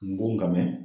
N go n ga mɛn